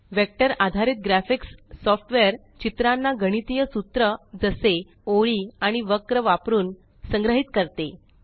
vector आधारित graphics software चित्रांना गणितीय सूत्र जसे ओळी आणि वक्र वापरून संग्रहित करते